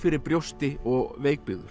brjósti og